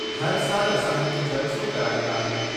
हर साल असां हिक जलसो कराईंदा आहियूं।